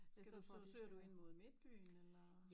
Skal du så søger du ind mod midtbyen eller